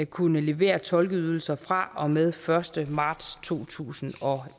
kunne levere tolkeydelser fra og med den første marts totusinde og